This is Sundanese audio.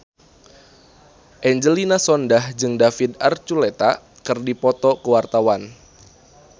Angelina Sondakh jeung David Archuletta keur dipoto ku wartawan